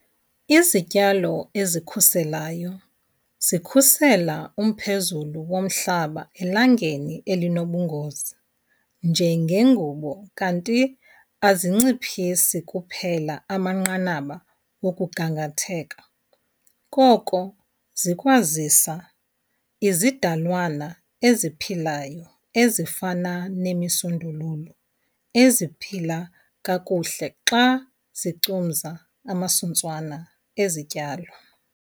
Izityalo ezikhuselayo zikhusela umphezulu womhlaba elangeni elinobungozi njengengubo kanti azinciphisi kuphela amanqanaba okugangatheka koko zikwazisa izidalwanana eziphilayo ezifana nemisundululu eziphila kakuhle xa zicumza amasuntswana ezityalo.